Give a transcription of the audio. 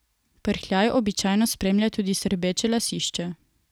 Prhljaj običajno spremlja tudi srbeče lasišče.